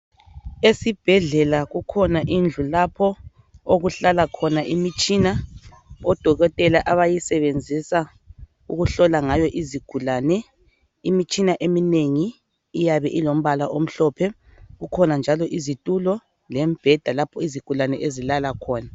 Esibhedlela kukhona indlu lapho okuhlala khona imitshina odokotela abayisebenzisa ukuhlohla ngayo izigulane. Imitshina eminengi iyabe ilombala omhlophe, kukhona njalo izitulo lembheda lapha izigulane ezilala khona.